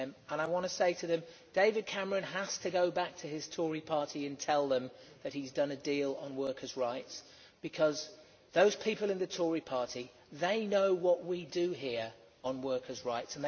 I want to say to them that David Cameron has to go back to his Tory Party and tell them that he has done a deal on workers' rights, when those people in the Tory party know what we do here on workers' rights.